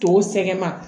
Tɔw sɛgɛn na